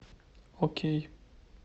окей